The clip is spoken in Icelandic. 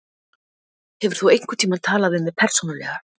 Hefur þú einhverntímann talað við mig persónulega?